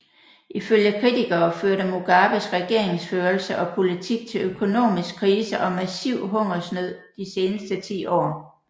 Ifølge kritikere førte Mugabes regeringsførelse og politik til økonomisk krise og massiv hungersnød de seneste ti år